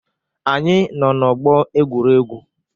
Anyị nọ n'ọgbọ egwuregwu?